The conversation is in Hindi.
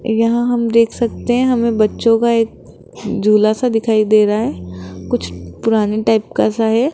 यहां हम देख सकते हैं हमें बच्चों का एक झूला सा दिखाई दे रहा है कुछ पुराने टाइप का सा है।